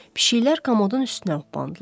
Pişiklər komodun üstünə opandılar.